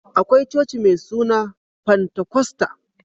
Akwai coci mai suna fantakosta